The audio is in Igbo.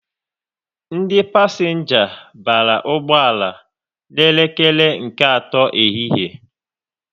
Ndị pasenga bara ụgbọala n'elekere nke atọ ehihie